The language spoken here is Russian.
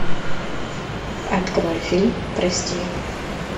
открой фильм прости